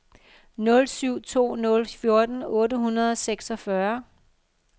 nul syv to nul fjorten otte hundrede og seksogfyrre